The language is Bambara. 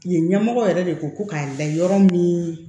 Yen ɲɛmɔgɔ yɛrɛ de ko ko k'a la yɔrɔ min